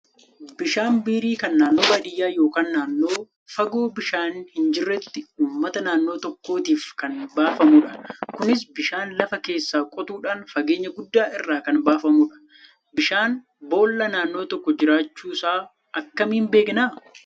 Bishaan biirii kan naannoon baadiyyaa yookaan naannoo fagoo bishaan hin jirretti uummata naannoo tokkootiif kan baafamudha. Kunis bishaan lafa keessaa qotuudhaan fageenya guddaa irraa kan baafamudha. Bishaan boollaa naannoo tokko jiraachuusaa akkamiin beekna?